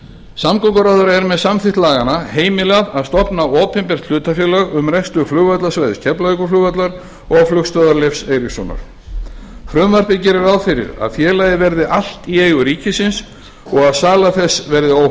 samgönguráðherra er með samþykki laganna heimilað að stofna opinbert hlutafélag um rekstur flugvallarsvæðis keflavíkurflugvallar og flugstöðvar leifs eiríkssonar frumvarpið gerir ráð fyrir að félagið verði allt í eigu ríkisins og að sala þess verði